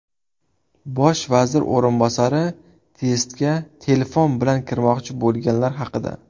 Bosh vazir o‘rinbosari testga telefon bilan kirmoqchi bo‘lganlar haqida.